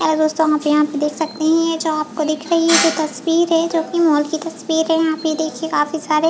hello दोस्तों यहाँ पे यहाँ पे देख सकते है ये जो आपको दिख रही है जो तस्वीर है जो की मॉल की तस्वीर है यहाँ पे देखिये काफी सारे --